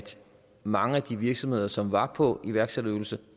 mange af de virksomheder som var på iværksætterydelse